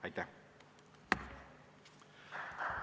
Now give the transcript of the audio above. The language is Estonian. Aitäh!